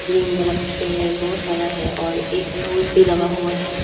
Green वाला पेड़ बहुत सारा है और एक पोज भी लगा हुआ है।